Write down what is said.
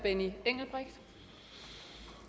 jamen